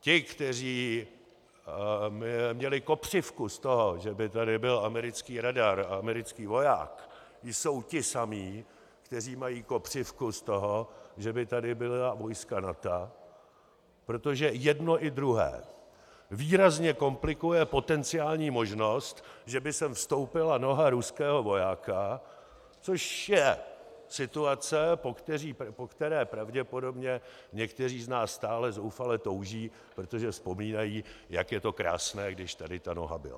Ti, kteří měli kopřivku z toho, že by tady byl americký radar a americký voják, jsou ti samí, kteří mají kopřivku z toho, že by tady byla vojska NATO, protože jedno i druhé výrazně komplikuje potenciální možnost, že by sem vstoupila noha ruského vojáka, což je situace, po které pravděpodobně někteří z nás stále zoufale touží, protože vzpomínají, jak je to krásné, když tady ta noha byla.